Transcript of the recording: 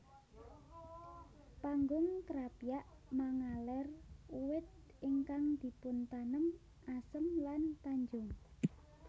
Panggung Krapyak mangaler uwit ingkang dipun tanem Asem lan Tanjung